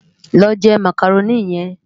Lò jè Mákároni yèn